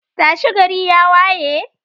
tashi, gari ya waye.